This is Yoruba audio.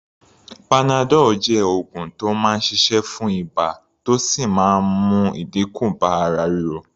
Panadol jẹ́ oògùn tó máa ń ṣiṣẹ́ fún ibà, tó sì máa ń mú ìdínkù bá ara ríro.